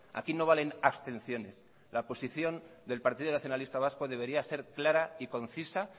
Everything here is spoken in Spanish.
aquí no valen abstenciones la posición del partido nacionalista vasco debería ser clara y concisa